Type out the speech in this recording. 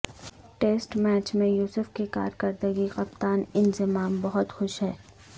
test match میں یوسف کی کارکردگی کپتان انضمام بہت خوش ہیں